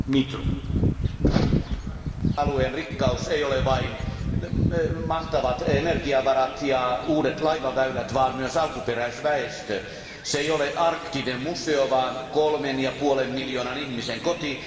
Arvoisa puhemies, arktisen alueen rikkaus ei ole vain mahtavat energiavarat ja uudet laivaväylät, vaan myös alkuperäisväestö. Se ei ole arktinen museo vaan kolmen ja puolen miljoonan ihmisen koti.